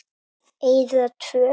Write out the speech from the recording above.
Eyða tvö.